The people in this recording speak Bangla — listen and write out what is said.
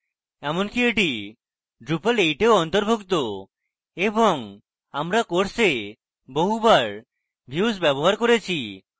এমনকি এটি drupal 8 in অন্তুর্ভুক্ত এবং আমরা course বহুবার views ব্যবহার করেছি